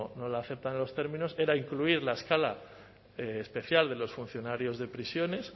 no la aceptan en los términos era incluir la escala especial de los funcionarios de prisiones